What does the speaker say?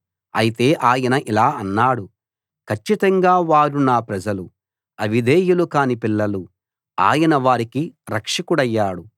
అయితే ఆయన ఇలా అన్నాడు కచ్చితంగా వారు నా ప్రజలు అవిధేయులు కాని పిల్లలు ఆయన వారికి రక్షకుడయ్యాడు